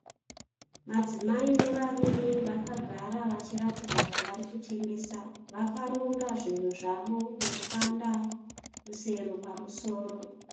Madzimai nevarume vakagara vachiratidza kuti varikutengesa, vakaronga zvinhu zvavo netswanda rusere pamusoro.